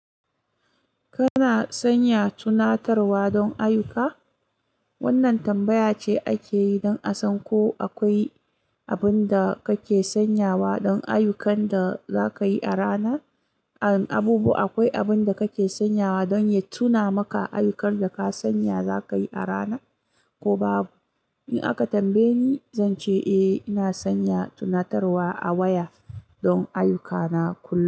Kana sanya tunatarwa don ayyuka? Wannan tambaya ce ake yi don a san ko akwai abin da kake sanyawa don ayyukan da za ka yi a rana. Abubuwa, akwai abin da kake sanyawa don ya tuna maka ayyukan da ka sanya za ka yi a rana ko babu. In aka tambaye ni, zan ce eh, ina sanya tunatarwa a waya don ayyukana kullum.